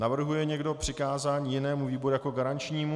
Navrhuje někdo přikázání jinému výboru jako garančnímu?